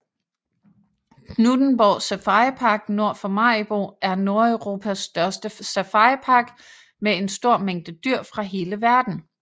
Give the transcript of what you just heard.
Knuthenborg Safaripark nord for Maribo er Nordeuropas største safaripark med en stor mængde dyr fra hele verden